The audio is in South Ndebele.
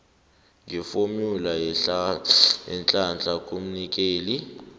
ngefomula yeenhlahla kumnikeli